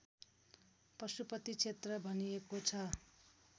पशुपति क्षेत्र भनिएको छ